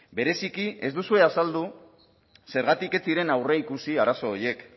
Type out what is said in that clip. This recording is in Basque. bereziki ez duzue azaldu zergatik ez ziren aurreikusi arazo horiek